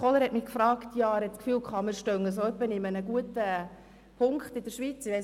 Kohler hatte den Eindruck, wir seien in der Schweiz in dieser Hinsicht gut unterwegs.